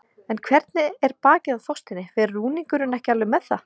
En hvernig er bakið á Þorsteini, fer rúningurinn ekki alveg með það?